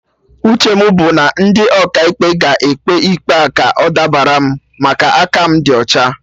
Uche mụ bụ na ndị Ọkaikpe ga-ekpe ikpe a ka ọ dabara m, maka aka mụ di ọcha